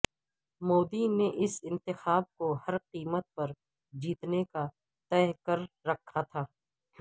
مودی نے اس انتخاب کو ہر قیمت پر جیتنے کا تہیہ کر رکھا تھا